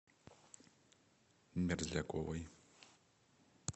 мерзляковой